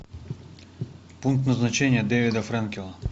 пункт назначения девида френкела